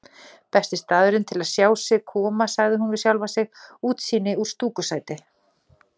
Besti staðurinn til að sjá þá koma, sagði hún við sjálfa sig, útsýni úr stúkusæti.